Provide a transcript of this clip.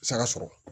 Saga sɔrɔ